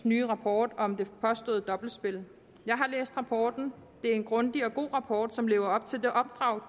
nye rapport om det påståede dobbeltspil jeg har læst rapporten det er en grundig og god rapport som lever op til det opdrag